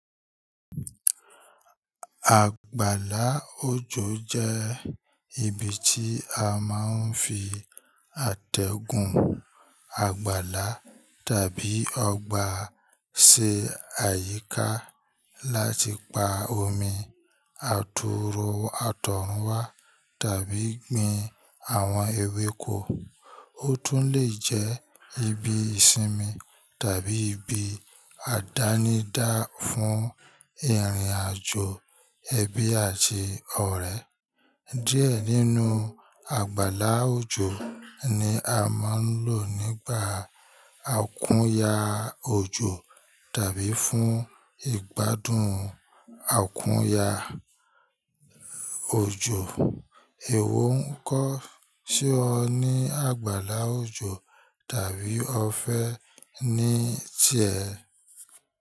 Àgbàlá òjò jẹ́ ibi tí a máa ń fi àtẹ̀gùn, àgbàlá tàbí ọgbà ṣe àyíká láti pa omi àtọ̀runwá tàbí gbin àwọn ewéko. Ó tún lè jẹ́ ibi ìsinmi tàbí ibi àdánidá fún ìrìnàjò ẹbí àti ọ̀rẹ́. Díẹ̀ nínú àgbàlá òjò ni a máa ń lò nígbà àkúnya òjò tàbí fún ìgbádùn àkúnya òjò. Ìwọ ń kọ́, ṣé o ní àgbàlá òjò tàbí o fẹ́ ní í tiẹ?